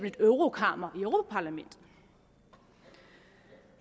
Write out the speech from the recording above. et eurokammer i europa parlamentet